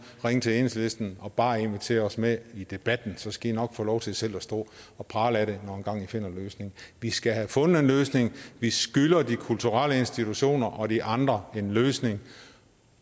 ringe til enhedslisten og bare invitere os med i debatten så skal i nok få lov til selv at stå og prale af det når engang i finder en løsning vi skal have fundet en løsning vi skylder de kulturelle institutioner og de andre en løsning